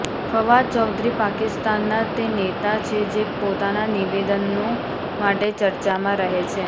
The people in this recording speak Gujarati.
ફવાદ ચૌધરી પાકિસ્તાનના તે નેતા છે જે પોતાના નિવેદનો માટે ચર્ચામાં રહે છે